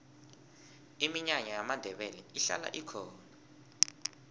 iminyanya yamandebele ihlala ikhona